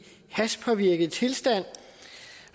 hashpåvirket tilstand